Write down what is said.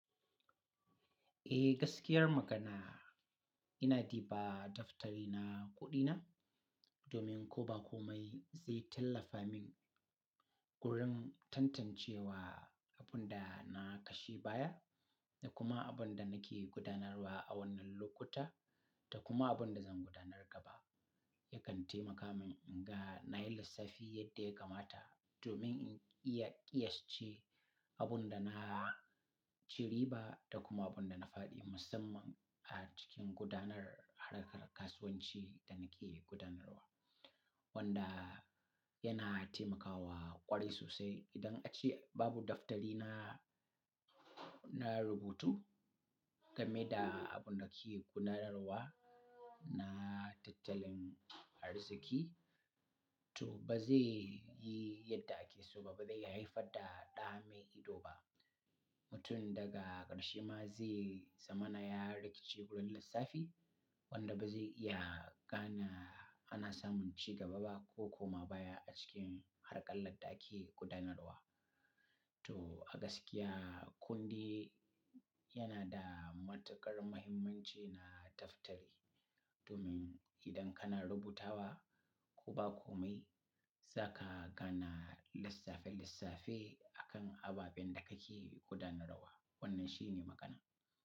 Eh gaskiyar magana, ina diba daftari na kuɗina domin ko ba komai zai tallafa min wurin tantancewa abun da na kashe baya da kuma abun da nake gudanarwa a wannan lokuta da kuma abun da zan gudanar gaba. Yakan taimaka min in ga na yi lissafi yadda ya kamata domin in iya ƙiyas ce abun da na ciri ba da kuma abun da na fadi musamman a cikin gudanar harkar kasuwanci da nake gudanarwa. Wanda yana taimakawa ƙwari sosai idan ace babu daftari na, na rubutu game da abun da kike gudanarwa na tattalin arziki, to ba zai yi yadda ake so ba, ba zai haifar da ɗame ido ba. Mutum daga ƙarshe ma zai zama na ya rikice wurin lissafi wanda ba zai iya gane ana samun ci gaba ba ko koma baya a cikin harƙalar ɗa ake gudanarwa. To a gaskiya kundi yana da matuƙar muhimmanci na daftari domin idan kana rubutawa ko ba komai za ka gane lissafin lissafi a kan ababen da kake gudanarwa. Wannan shi ne magana.